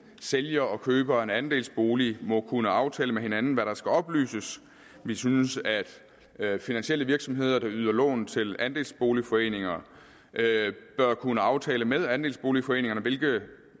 sælger og køber af en andelsbolig må kunne aftale med hinanden hvad der skal oplyses vi synes at at finansielle virksomheder der yder lån til andelsboligforeninger bør kunne aftale med andelsboligforeningerne hvilke